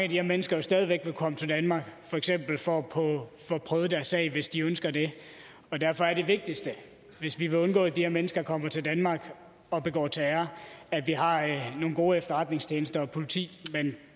de her mennesker jo stadig væk vil komme til danmark for eksempel for at få prøvet deres sag hvis de ønsker det og derfor er det vigtigste hvis vi vil undgå at de her mennesker kommer til danmark og begår terror at vi har nogle gode efterretningstjenester og politi men